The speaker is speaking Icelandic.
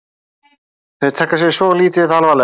Þeir taka sig svo lítið alvarlega